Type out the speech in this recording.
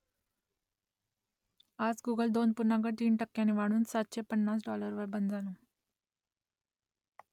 आज गुगल दोन पूर्णांक तीन टक्क्यांनी वाढून सातशे पन्नास डॉलरवर बंद झालं